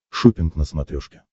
шоппинг на смотрешке